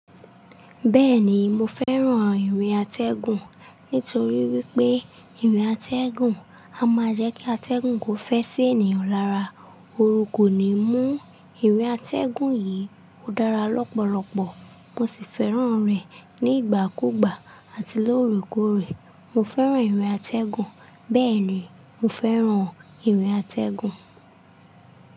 Bẹ́ẹ̀ ni, mo fẹ́ràn ìrìn atẹ́gùn nítorí wípé ìrìn atẹ́gùn a máa jẹ́ kí atẹ́gùn kó fẹ́ sí ènìyàn lára. Orun kò ní mú. Ìrìn atẹ́gùn yìí ò dára lọ́pọ̀lọpọ̀, mo sì fẹ́ràn rẹ̀ nígbà kúùgbà àti lóore kóòrè. Mo fẹ́ràn ìrìn atẹ́gùn. Bẹ́ẹ̀ ni, mo fẹ́ràn ìrìn atẹ́gùn.